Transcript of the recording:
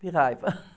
De raiva